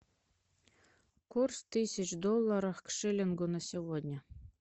курс тысяч долларах к шиллингу на сегодня